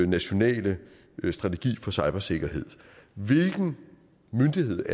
nationale strategi for cybersikkerhed hvilken myndighed